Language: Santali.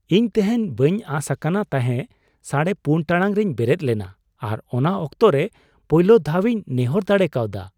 ᱤᱧ ᱛᱮᱦᱮᱧ ᱵᱟᱹᱧ ᱟᱸᱥ ᱟᱠᱟᱱ ᱛᱟᱦᱮᱸ ᱔ᱺ᱓᱐ ᱴᱟᱲᱟᱝ ᱨᱮᱧ ᱵᱮᱨᱮᱫ ᱞᱮᱱᱟ ᱟᱨ ᱚᱱᱟ ᱚᱠᱛᱚ ᱨᱮ ᱯᱳᱭᱞᱳ ᱫᱷᱟᱣᱤᱧ ᱱᱮᱦᱚᱨ ᱫᱟᱲᱮ ᱠᱟᱣᱫᱟ ᱾